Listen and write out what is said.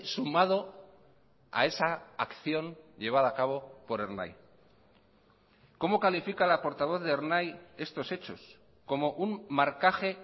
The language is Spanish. sumado a esa acción llevada a cabo por ernai cómo califica la portavoz de ernai estos hechos como un marcaje